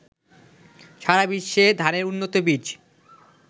সারাবিশ্বে ধানের উন্নত বীজ